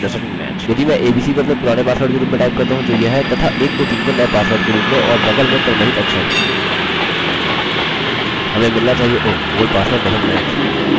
यदि मैं abc को अपने पुराने पासवर्ड के रूप में टाइप करता हूँ जो यह है तथा 123 को नये पासवर्ड के रूप में और और बगल में क्रमरहित अक्षर हमें मिलना चाहिए oh old password doesnt match!